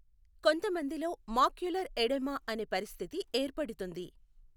కొంతమందిలో macular oedema అనే పరిస్థితి ఏర్పడుతుంది.